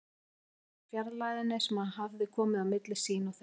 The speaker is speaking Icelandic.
Ryðja burt fjarlægðinni sem hann hafði komið á milli sín og þeirra.